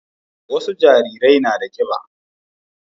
wasu jarirai na da kiba